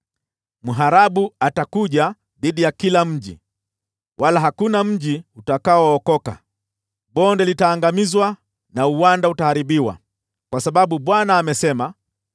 Mharabu atakuja dhidi ya kila mji, wala hakuna mji utakaookoka. Bonde litaangamizwa na uwanda utaharibiwa, kwa sababu Bwana amesema.